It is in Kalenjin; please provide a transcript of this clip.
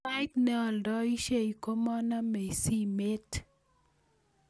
Sait nealdaishe kimanamei simet